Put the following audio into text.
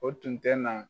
O tun tɛ na